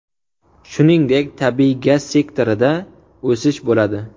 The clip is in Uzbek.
Shuningdek, tabiiy gaz sektorida o‘sish bo‘ladi.